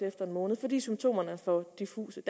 efter en måned fordi symptomerne er for diffuse